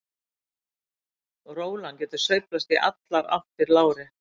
Rólan getur sveiflast í allar áttir lárétt.